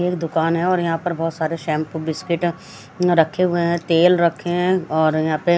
दुकान है और यहा पर बहोत सारे शेम्पू बिस्किट रखे हुए है तेल रखे है और यहा पे--